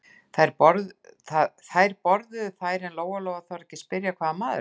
Þær borðuðu þær en Lóa-Lóa þorði ekki að spyrja hvaða maður þetta væri.